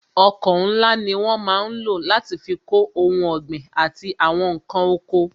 Ọkọ̀ ńlá ni wọ́n máa ń lò láti fi kó ohun ọ̀gbìn àti àwọn nkan oko